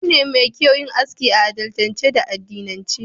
Abu ne mai kyau yin aski a al'adance da addinance.